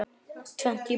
Tvennt í boði.